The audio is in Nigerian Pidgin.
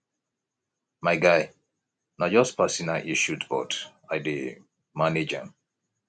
my guy na just personal issues but i dey manage am